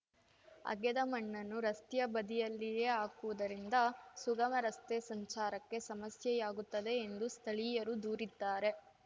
ಅಗೆದ ಮಣ್ಣನ್ನು ರಸ್ತೆಯ ಬದಿಯಲ್ಲಿಯೇ ಹಾಕುವುದರಿಂದ ಸುಗಮ ರಸ್ತೆ ಸಂಚಾರಕ್ಕೆ ಸಮಸ್ಯೆಯಾಗುತ್ತದೆ ಎಂದು ಸ್ಥಳೀಯರು ದೂರಿದ್ದಾರೆ